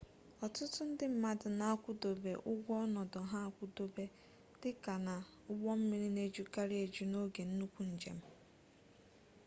ọtụtụ ndị mmadụ na-akwụdobe ụgwọ ọnọdụ ha akwụdobe dịka na ụgbọmmiri na-ejukarị eju n'oge nnukwu njem